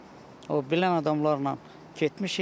O bilən adamlarla getmişik.